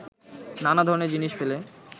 নানা ধরনের জিনিস ফেলে